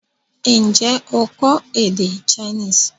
N jẹ́ o kọ́ èdè Chinese?